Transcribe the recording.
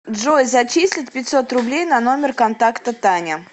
джой зачислить пятьсот рублей на номер контакта таня